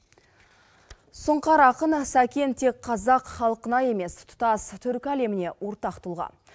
сұңқар ақын сәкен тек қазақ халқына емес тұтас түркі әлеміне ортақ тұлға